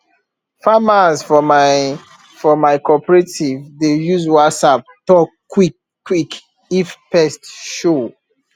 farmers for my for my cooperative dey use whatsapp talk quick quick if pest show